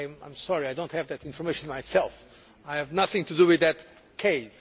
I am sorry I do not have that information myself I have nothing to do with that case.